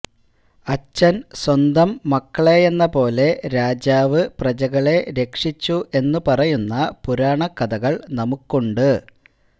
അച്ഛന് സ്വന്തം മക്കളെയെന്നപോലെ രാജാവ് പ്രജകളെ രക്ഷിച്ചു എന്നുപറയുന്ന പുരാണകഥകള് നമുക്കുണ്ട്